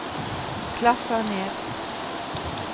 klaffer ned